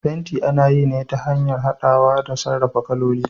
fenti ana yi ne ta hanyar hadawa da sarrafa kaloli.